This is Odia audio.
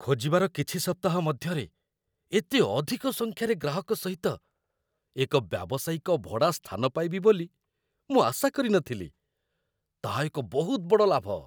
ଖୋଜିବାର କିଛି ସପ୍ତାହ ମଧ୍ୟରେ ଏତେ ଅଧିକ ସଂଖ୍ୟାରେ ଗ୍ରାହକ ସହିତ ଏକ ବ୍ୟାବସାୟିକ ଭଡ଼ା ସ୍ଥାନ ପାଇବି ବୋଲି ମୁଁ ଆଶା କରି ନଥିଲି ତାହା ଏକ ବହୁତ ବଡ଼ ଲାଭ